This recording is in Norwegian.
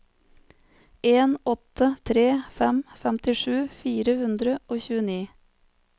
en åtte tre fem femtisju fire hundre og tjueni